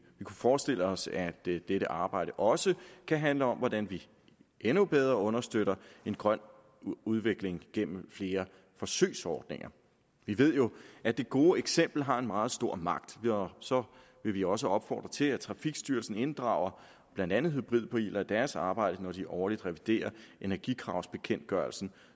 forestiller os at dette dette arbejde også kan handle om hvordan vi endnu bedre understøtter en grøn udvikling gennem flere forsøgsordninger vi ved jo at det gode eksempel har en meget stor magt og så vil vi også opfordre til at trafikstyrelsen inddrager blandt andet hybridbiler i deres arbejde når de årligt reviderer energikravsbekendtgørelsen